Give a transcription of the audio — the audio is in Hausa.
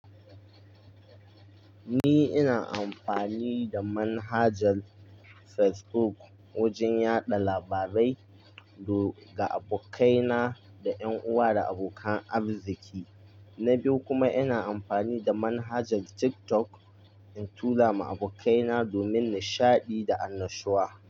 Ni ina amfani da manhajar Facebook wajen yaɗa labarai ga abokaina, da ƴan uwa, da abokan arziki. Na biyu kuma, ina amfani da manhajar TikTok in tura ma abokaina domin nishaɗi da annashuwa.